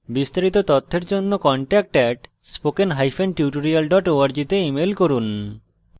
বিস্তারিত তথ্যের জন্য contact @spokentutorial org তে ইমেল করুন